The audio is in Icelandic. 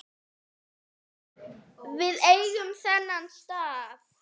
Við eigum þennan stað